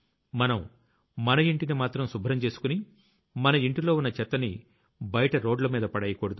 మనం మన ఇంటిని మాత్రం శుభ్రం చేసుకుని మన ఇంటిలో ఉన్న చెత్తని బైట రోడ్లమీద పడెయ్యకూడదు